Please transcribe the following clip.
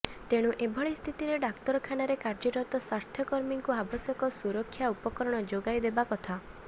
ତେଣୁ ଏଭଳି ସ୍ଥିତିରେ ଡାକ୍ତରଖାନାରେ କାର୍ଯ୍ୟରତ ସ୍ୱାସ୍ଥ୍ୟକର୍ମୀଙ୍କୁ ଆବଶ୍ୟକ ସୁରକ୍ଷା ଉପକରଣ ଯୋଗାଇଦେବା କଥା